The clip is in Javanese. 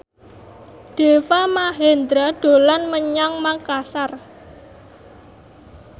Deva Mahendra dolan menyang Makasar